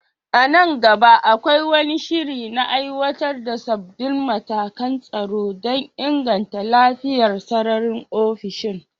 A nan gaba, akwai wani shiri na aiwatar da sabbin matakan tsaro don inganta lafiyar sararin ofishin?